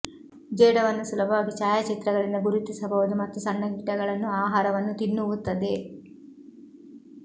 ಜೇಡವನ್ನು ಸುಲಭವಾಗಿ ಛಾಯಾಚಿತ್ರಗಳಿಂದ ಗುರುತಿಸಬಹುದು ಮತ್ತು ಸಣ್ಣ ಕೀಟಗಳನ್ನು ಆಹಾರವನ್ನು ತಿನ್ನುವುತ್ತದೆ